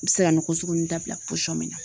N bɛ se ka nɔgɔ Sugu ninnu dabila min na